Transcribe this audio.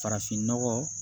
Farafinnɔgɔ